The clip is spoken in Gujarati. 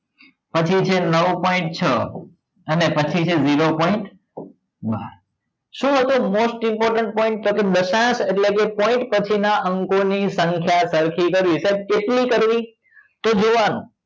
પછી છે point છ અને પછી છે zero point બાર શું હતો most important તો કે દશાંસ એટલે કે point પછી ના અંકો ની સંખ્યા સરખી કરવી સાહેબ કેટલી કરવી તો જોવા નું